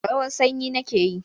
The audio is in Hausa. Rawar sanyi nake yi.